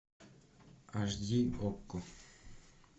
аш ди окко